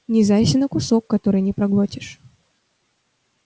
не зарься на кусок который не проглотишь